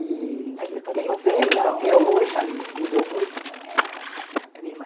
E tenho primos até hoje, me dou muito com ela, com a minha prima.